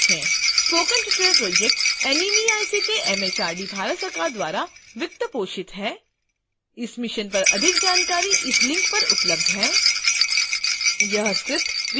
spoken tutorial project NMEICT MHRD Bharat सरकार द्वारा वित्त पोषित है